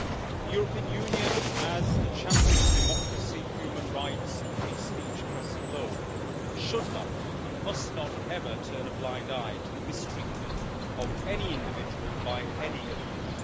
The European Union as a champion of democracy, human rights and free speech across the globe should not, and must not ever, turn a blind eye to the mistreatment of any individual by any government.